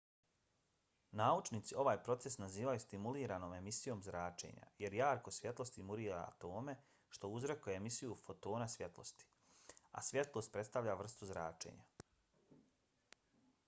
naučnici ovaj proces nazivaju stimuliranom emisijom zračenja jer jarko svjetlo stimulira atome što uzrokuje emisiju fotona svjetlosti a svjetlost predstavlja vrstu zračenja